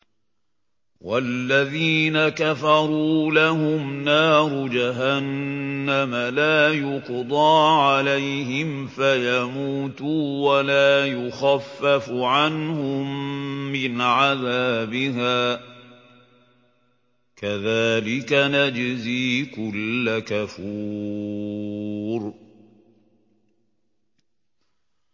وَالَّذِينَ كَفَرُوا لَهُمْ نَارُ جَهَنَّمَ لَا يُقْضَىٰ عَلَيْهِمْ فَيَمُوتُوا وَلَا يُخَفَّفُ عَنْهُم مِّنْ عَذَابِهَا ۚ كَذَٰلِكَ نَجْزِي كُلَّ كَفُورٍ